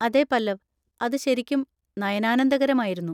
അതെ പല്ലവ്! അത് ശരിക്കും നയനാനന്ദകരമായിരുന്നു.